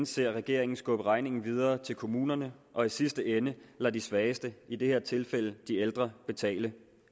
ser regeringen skubbe regningen videre til kommunerne og i sidste ende lade de svageste i det her tilfælde de ældre betale